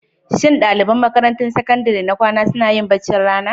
Shin ɗaliban makarantun sakandare na kwana suna yin baccin rana?